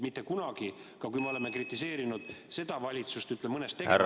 Mitte kunagi, ka siis mitte, kui oleme praegust valitsust mõnes tegevuses kritiseerinud ...